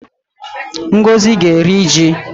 Ngozi ga-eri ji